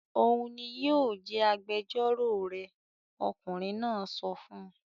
"Òun ni yóò jẹ́ agbẹjọ́rò rẹ!" Ọkùnrin náà sọ fún un.